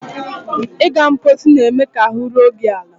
Ịga mposi na-eme ka ahụ́ ruo gị ala.